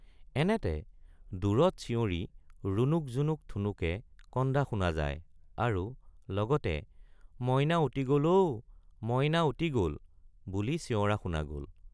এনেতে দূৰত চিয়ৰি ৰুণুক জুনুক ঠুনুকে কন্দা শুনা যায় আৰু লগতে মইনা উটি গল ঔ— মইনা উটি গল—বুলি চিয়ৰা শুনা গল।